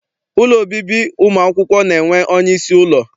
Ụlọ obibi ụmụakwụkwọ na-enwe onyeisi ụlọ.